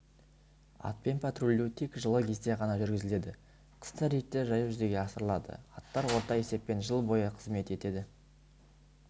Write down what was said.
атпен патрульдеу тек жылы кезде ғана жүргізіледі қыста рейдтер жаяу жүзеге асырылады аттар орта есеппен жыл бойы қызмет етеді